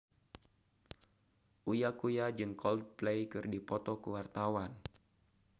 Uya Kuya jeung Coldplay keur dipoto ku wartawan